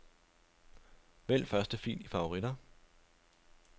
Vælg første fil i favoritter.